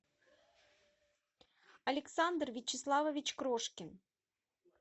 александр вячеславович крошкин